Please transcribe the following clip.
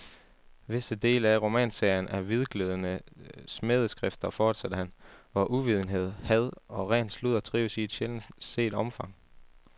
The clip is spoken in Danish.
Visse dele af romanserien er hvidglødende smædeskrifter, fortsatte han, hvor uvidenhed, had og ren sludder trives i et sjældent set omfang.